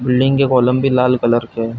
Building के column भी लाल कलर के है।